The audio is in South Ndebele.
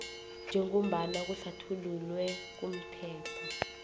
njengombana kuhlathululwe kumthetho